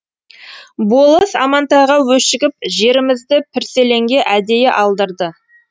болыс амантайға өшігіп жерімізді пірселенге әдейі алдырды